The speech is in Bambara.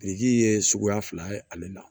Biriki ye suguya fila ye ale la